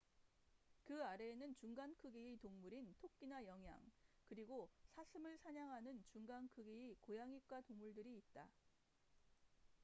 그 아래에는 중간 크기의 동물인 토끼나 영양 그리고 사슴을 사냥하는 중간 크기의 고양잇과 동물들이 있다